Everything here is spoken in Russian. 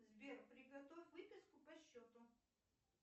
сбер приготовь выписку по счету